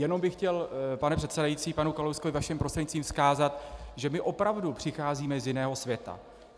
Jenom bych chtěl, pane předsedající, panu Kalouskovi vaším prostřednictvím vzkázat, že my opravdu přicházíme z jiného světa.